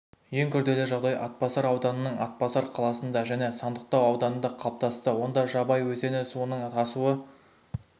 ең күрделі жағдай атбасар ауданының атбасар қаласында және сандықтау ауданында қалыптасты онда жабай өзені суының тасуы